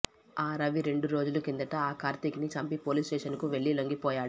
ఆ రవి రెండు రోజుల కిందట ఆ కార్తీక్ ని చంపి పోలీస్ స్టేషన్ కు వెళ్లి లొంగిపోయాడు